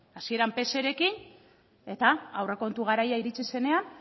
hasieran pserekin eta aurrekontu garaia iritsi zenean